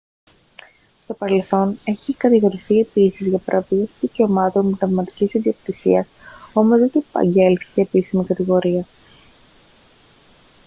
στο παρελθόν έχει κατηγορηθεί επίσης για παραβίαση δικαιωμάτων πνευματικής ιδιοκτησίας όμως δεν του απαγγέλθηκε επίσημη κατηγορία